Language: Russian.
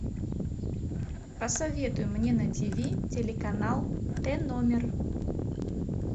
посоветуй мне на тв телеканал т номер